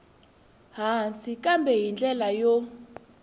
hansi kambe hi ndlela yo